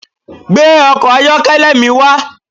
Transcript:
Gbe ọkọ̀ ayọ́kẹ́lẹ́ mi wa